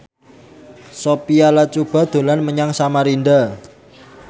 Sophia Latjuba dolan menyang Samarinda